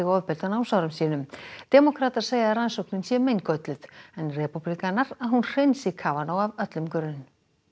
ofbeldi á námsárum sínum demókratar segja að rannsóknin sé meingölluð en repúblikanar að hún hreinsi Kavanaugh af öllum grun